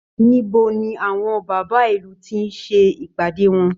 Níbo ni àwọn bàbá ìlù ti ń ṣe ìpàdé wọn?